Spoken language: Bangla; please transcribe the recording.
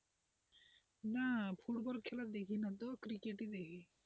না ফুটবল খেলা দেখি না তো ক্রিকেট ই দেখি।